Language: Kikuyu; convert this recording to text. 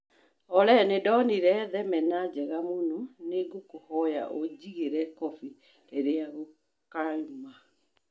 Olly, nĩ ndonire thenema njega mũno nĩ ngũkũhoya ũnjigĩire kobĩ rĩrĩa rĩkaũma